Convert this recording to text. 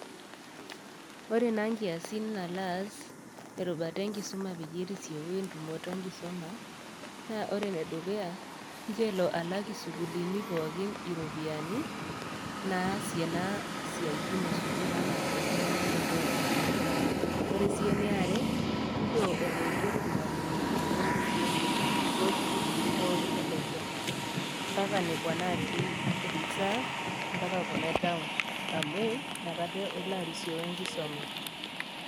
Ore na nkiasin nalo as enkirubata enkisuma peyie esioyi entumoto enkisuma na ore enedukuya ncho elo alak sukuulini pookin iropiyiani naasie na siatinil esukul anaa enkinyangunoto ombukui, ore si eniare ncho elo aiger irmalimulini orisio tesukul tosukuluni pookin olosho mbaka nekua natii reserve mbaka kuna e town amu inakata elo arisioyu enkisuma.